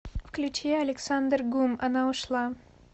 включи александр гум она ушла